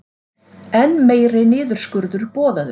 Enn meiri niðurskurður boðaður